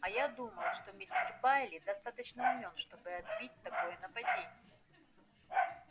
а я думаю что мистер байерли достаточно умён чтобы отбить такое нападение